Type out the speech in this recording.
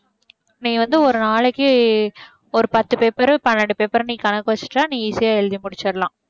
நீ வந்து ஒரு நாளைக்கு ஒரு பத்து paper பன்னெண்டு paper நீ கணக்கு வெச்சுட்டா நீ easy யா எழுதி முடிச்சிடலாம்